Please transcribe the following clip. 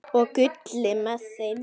Og Gulli með þeim!